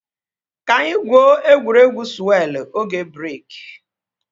Ka anyị gwuo egwuregwu sụwelụ oge breeki